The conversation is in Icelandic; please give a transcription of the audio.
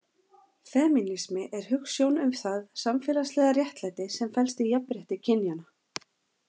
Femínismi er hugsjón um það samfélagslega réttlæti sem felst í jafnrétti kynjanna.